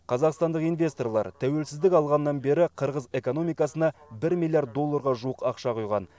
қазақстандық инвесторлар тәуелсіздік алғаннан бері қырғыз экономикасына бір миллиард долларға жуық ақша құйған